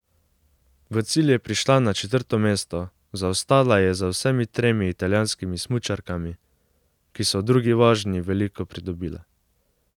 V cilj je prišla na četrto mesto, zaostala je za vsemi tremi italijanskimi smučarkami, ki so v drugi vožnji veliko pridobile.